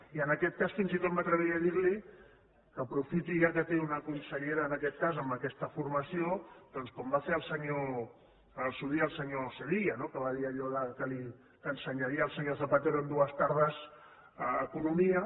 i en aquest cas fins i tot m’atreviria a dir li que ho aprofiti ja que té una consellera en aquest cas amb aquesta formació doncs com va fer al seu dia el senyor sevilla que va dir allò que ensenyaria al senyor zapatero en dues tardes economia